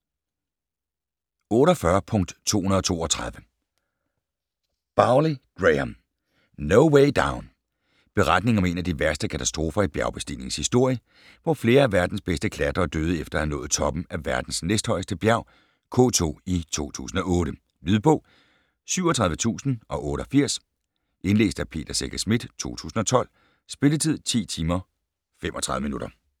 48.232 Bowley, Graham: No way down Beretningen om en af de værste katastrofer i bjergbestigningens historie, hvor flere af verdens bedste klatrere døde efter at have nået toppen af verdens næsthøjeste bjerg K2 i 2008. Lydbog 37088 Indlæst af Peter Secher Schmidt, 2012. Spilletid: 10 timer, 35 minutter.